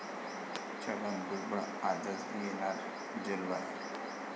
छगन भुजबळ आजच येणार जेल बाहेर?